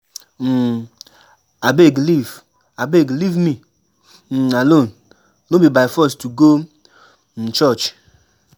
um Abeg leave Abeg leave me um alone, no be by force to go um church.